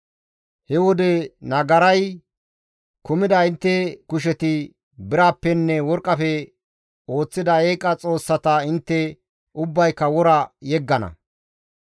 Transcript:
He wode nagaray kumida intte kusheti birappenne worqqafe ooththida eeqa xoossata intte ubbayka wora yeggana.